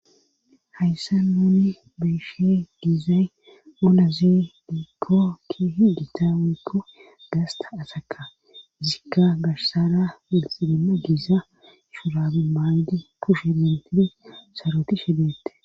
hayssa nuni beeshe giizay ulazi diikkokki higita wekko gaasta asaka zikka gashsara wulxidima giisa shurabi maaydi pushe mintiri soroti shebeette